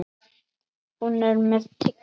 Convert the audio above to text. Hún er með tyggjó.